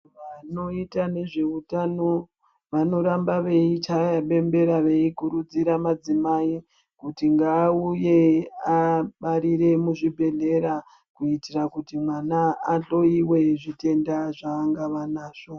Vanoita nezveutano vanoramba veichaya bembera veikurudzira madzimai kuti ngaauye abarire muzvibhehlera kuitira kuti mwana ahloiwe zvitenda zvaangava nazvo.